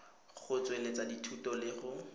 go tsweletsa dithuto le go